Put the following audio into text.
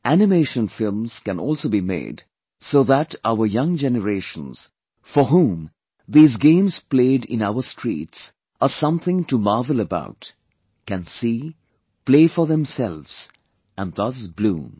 Animation films can also be made so that our young generations for whom these games played in our streets are something to marvel about, can see, play for themselves and thus bloom